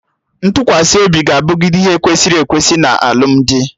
Ntụkwasị obi ga-abụgide ihe kwesịrị ekwesị na alụmdi